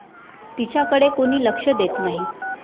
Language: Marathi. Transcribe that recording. तिच्याकडे कोणी लक्ष देत नाही.